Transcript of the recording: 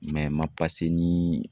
ma ni